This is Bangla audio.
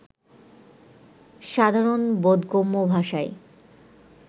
সাধারণ বোধগম্য ভাষাই